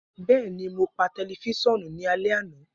Bẹẹni, Mo pa tẹlifisiọnu ni alẹ ana.